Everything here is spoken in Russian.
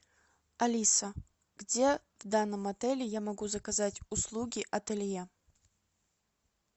алиса где в данном отеле я могу заказать услуги ателье